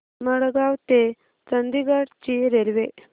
मडगाव ते चंडीगढ ची रेल्वे